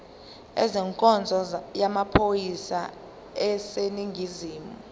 ezenkonzo yamaphoyisa aseningizimu